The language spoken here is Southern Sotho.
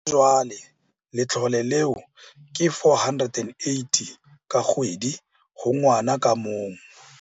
Ha jwale letlole leo ke R480 ka kgwedi ho ngwana ka mong.